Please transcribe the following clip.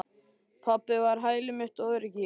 Pabbi var hæli mitt og öryggi.